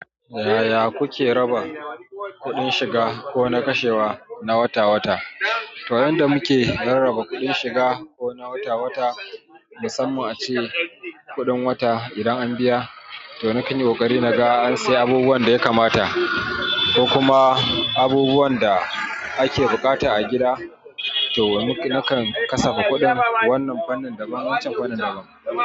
Yaya kuke raba kuɗin shiga ko na kashewa na wata-wata? To, yanda muke rarraba kuɗin shiga ko na wata-wata, musamman ace kuɗin wata, idan an biya to nakan yi ƙoƙari naga an sayi abubuwan da ya kamata ko kuma abubuwan da ake buƙata a gida, to nakan kasafa kuɗin wannan fannin da waccan fannin daban.